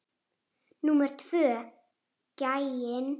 Númer tvö gæinn.